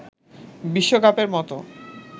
বিশ্বকাপের মতো